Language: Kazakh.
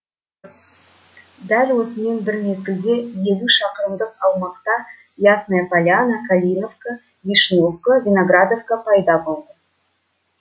дәл осымен бір мезгілде елу шақырымдық аумақта ясная поляна калиновка вишневка виноградовка пайда болды